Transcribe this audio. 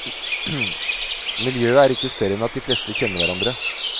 Miljøet er ikke større enn at de fleste kjenner hverandre.